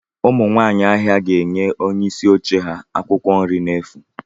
Ụmụ nwaanyị ahịa ga-enye onye isi oche ha akwụkwọ nri n'efu.